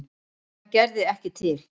Það gerði ekki til.